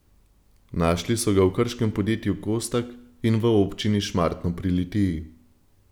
Našli so ga v krškem podjetju Kostak in v občini Šmartno pri Litiji.